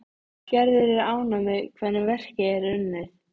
Gerður er ánægð með hvernig verkið er unnið.